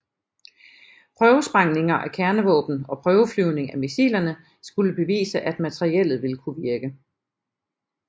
Prøvesprængninger af kernevåben og prøveflyvning af missilerne skulle bevise at materiellet ville kunne virke